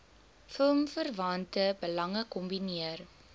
filmverwante belange kombineer